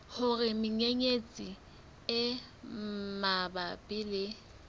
hore menyenyetsi e mabapi le